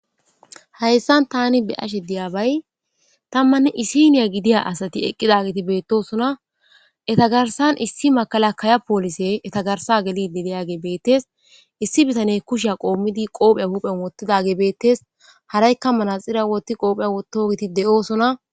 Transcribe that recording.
hayssan tani be ashe diyabay tammanne isiniya gidiya asati eqqidagiti beettosona etagarsan issi makala kaya poolise etagarsa gelidi deyage beettes issi bitane kushiya qoommidi qoopheya huphen wottidage beettes haraykka mana xira wotti qoopheya wotto giti de7oosona